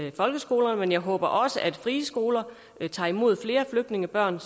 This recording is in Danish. i folkeskolen men jeg håber også at de frie skoler tager imod flere flygtningebørn